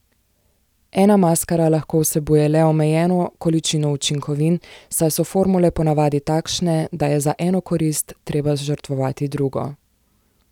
Ena maskara lahko vsebuje le omejeno količino učinkovin, saj so formule po navadi takšne, da je za eno korist treba žrtvovati drugo.